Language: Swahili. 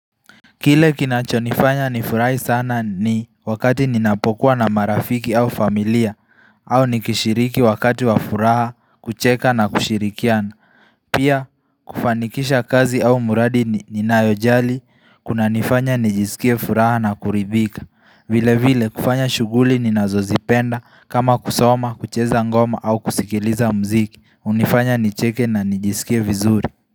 Kile kinachonifanya nifurahi sana ni wakati ninapokuwa na marafiki au familia au nikishiriki wakati wa furaha kucheka na kushirikiana. Pia kufanikisha kazi au mradi ninayojali kunanifanya nijisikie furaha na kuribika. Vile vile kufanya shughuli ninazozipenda kama kusoma, kucheza ngoma au kusikiliza muziki. Hunifanya nicheke na nijisikie vizuri.